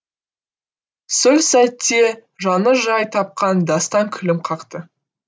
сө сәтте жаны жай тапқан дастан күлім қақты